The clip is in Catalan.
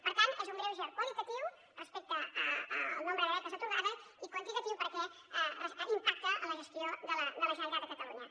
per tant és un greuge qualitatiu respecte al nombre de beques atorgades i quan·titatiu perquè impacta en la gestió de la generalitat de catalunya